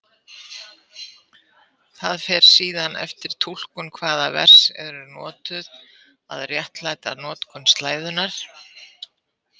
Það fer síðan eftir túlkun hvaða vers eru notuð að réttlæta notkun slæðunnar.